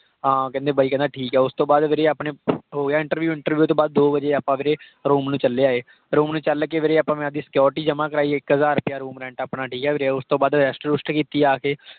ਹਾਂ, ਕਹਿੰਦੇ ਬਾਈ ਕਹਿੰਦਾ ਠੀਕ ਹੈ। ਉਸਤੋਂ ਬਾਅਦ ਵੀਰੇ ਆਪਣੇ ਹੋ ਗਿਆ interview ਤੋਂ ਬਾਅਦ ਦੋ ਵਜੇ ਆਪਾਂ ਵੀਰੇ ਆਪਣੇ room ਨੂੰ ਚੱਲ ਆਇ room ਨੂੰ ਚੱਲ ਕੇ ਵੀਰੇ ਆਪਾਂ ਮੈਂ ਆਪਦੀ security ਜਮਾ ਕਰਾਈ। ਇੱਕ ਹਜ਼ਾਰ ਰੁਪਈਆ room rent ਆਪਣਾ, ਠੀਕ ਹੈ ਵੀਰੇ। ਉਸਤੋਂ ਬਾਅਦ rest ਰੁਸਟ ਕੀਤੀ ਆ ਕੇ।